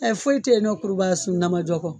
Ɛɛ foyi te yen nɔ, kurubaka sun damadɔ kɔ.